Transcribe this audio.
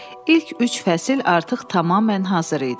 İlk üç fəsil artıq tamamilə hazır idi.